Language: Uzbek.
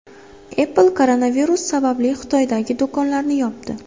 Apple koronavirus sababli Xitoydagi do‘konlarini yopdi.